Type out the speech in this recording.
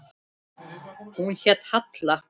Hún hét Halla.